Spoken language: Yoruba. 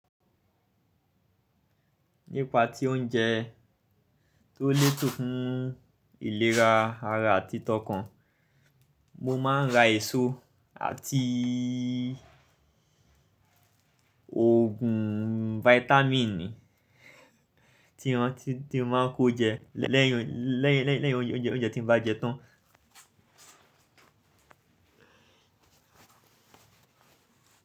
Nípa tí oúnjẹ tó lè tún fún ìlera ara àti tọkàn, mo máa ń ra èso àti ògùn vitamin tí mo máa ń kó jẹ lẹ́yìn oúnjẹ tí mo bá jẹ tán.